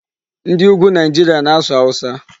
Ndị Ugwu Nigeria na-asụ Hausa.